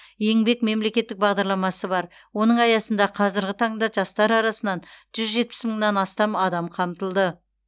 еңбек мемлекеттік бағдарламасы бар оның аясында қазіргі таңда жастар арасынан жүз жетпіс мыңнан астам адам қамтылды